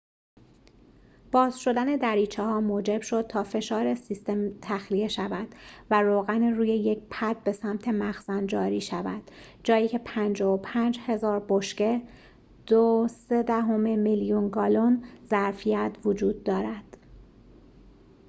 باز شدن دریچه‌ها موجب شد تا فشار سیستم تخلیه شود و روغن روی یک پد به سمت مخزن جاری شود، جایی که 55000 بشکه 2.3 میلیون گالن ظرفیت وجود دارد